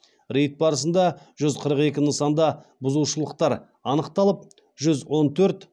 рейд барысында жүз қырық екі нысанда бұзушылықтар анықталып жүз он төрт